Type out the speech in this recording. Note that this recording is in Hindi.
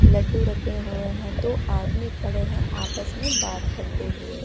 लड्डू रखे हुए हैं दो आदमी खड़े हैं आपस में बात करते हुए।